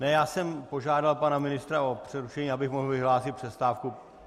Ne, já jsem požádal pana ministra o přerušení, abych mohl vyhlásit přestávku.